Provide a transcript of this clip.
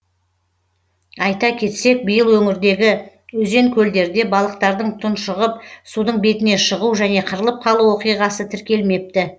айта кетсек биыл өңірдегі өзен көлдерде балықтардың тұңшығып судың бетіне шығу және қырылып қалу оқиғасы тіркелмепті